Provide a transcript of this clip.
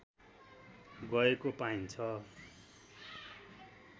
गएको पाइन्छ